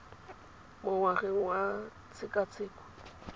mo ngwageng wa tshekatsheko le